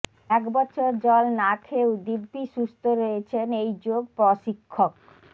এক বছর জল না খেয়েও দিব্যি সুস্থ রয়েছেন এই যোগ প্রশিক্ষক